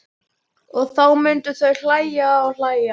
Og þá myndu þau hlæja og hlæja.